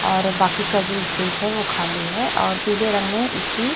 और बाकी का जो स्पेस है वो खाली है और पीले रंग में इसकी--